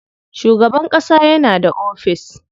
Shugaban ƙasa yana da ofis.